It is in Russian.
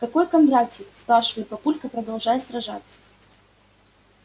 какой кондратий спрашивает папулька продолжая сражаться